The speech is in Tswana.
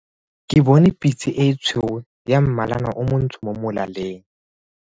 Ke bone pitse e tshweu ya mmalana o montsho mo molaleng.